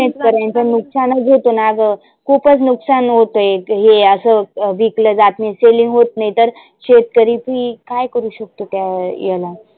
पर्यंत ना ग. खुपच नुकसान होतयहे असं विकल जात नाही selling होत नाही तर शेतकरी बी काय करु शकतो, त्या याला.